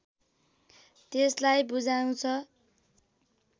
त्यसलाई बुझाउँछ